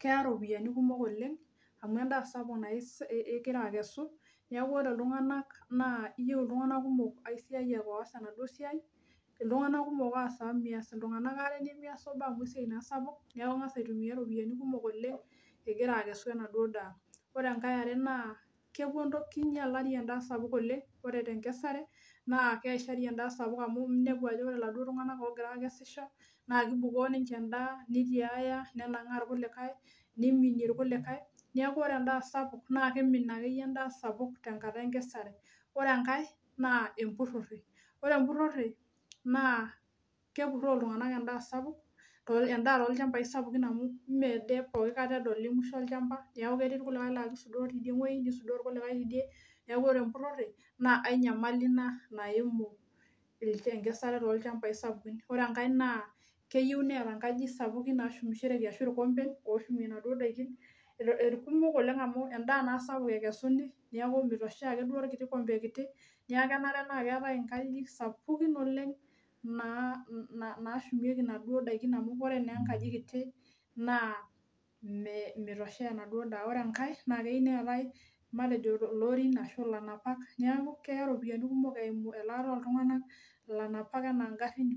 keya ropiyiani kumok oleng amu endaa sapuk nas, naa ingira akesu , niaku ore iltunganak naa iyieu iltunganak kumok aisiayiak oas enaduo siai , iltunganak kumok oas amu meas iltunganak ware , nemias obo amu esiai naa sapuk niaku ingas aitumia ropiyiani kumok oleng igira akesu enaduo daa . Ore enkae eare naa kepuo ntokitin, kinyialari endaa sapuk oleng , ore tenkesare naa keishari endaa sapuk amu inepu ajo ore iladuo tunganak ogira akesisho naa kibukoo ninche endaa, nitiaya , nenangaa irkulikae, niminie irkulikae , niaku ore endaa sapuk naa keimin akeyie endaa sapuk tenkata enkesare . Ore enkae naa empurore , ore empurore naa kepuroo iltunganak endaa sapuk ,endaa tolchambai sapukin amu mme ade pooki kata edoli mwisho olchamba niaku ketii irkulikae laa kisudoo tidie wuei , nisudoo irkulikae tidie , niaku ore empurore naa ae nyamali ina naimu enkesare tolchambai sapukin . Ore enkae naa keyieu neeta nkajijik sapukin nashumiroreki ashu irkompen loshumie inaduo daikin , irkumok oleng amu endaa naa sapuk ekesuni niaku mitoshea akeduo orkiti kompe kiti , niaku kenare naa keetae nkajijik sapukin naa nashumieki inaduo daikin amu ore naa enakaji kiti naa me meitosheya enaduo daa . Ore enkae naa keyieu neetae matejo lorin ashu ilanapak , niaku keya ropiyiani kumok eimu elaata oltunganak, ilanapak anaa ngarin.